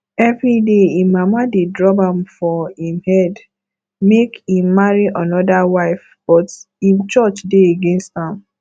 evryday im mama dey drum am for im head make im marry another wife but im church dey against am